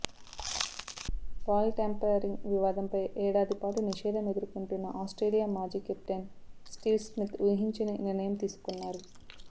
ball tampering వివాదంపై ఏడాది పాటు నిషేధం ఎదుర్కొంటున్న ఆస్ట్రేలియా మాజీ కెప్టెన్ స్టీవ్ స్మిత్ ఊహించని నిర్ణయం తీసుకున్నారు